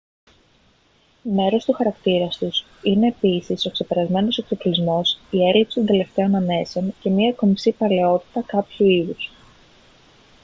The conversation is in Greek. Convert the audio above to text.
μέρος του χαρακτήρα τους είναι επίσης ο ξεπερασμένος εξοπλισμός η έλλειψη των τελευταίων ανέσεων και μια κομψή παλαιότητα κάποιου είδους